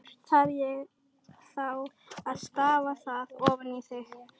Þarf ég þá að stafa það ofan í þig?